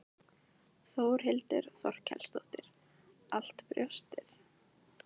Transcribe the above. Þórhildur Þorkelsdóttir: Allt brjóstið?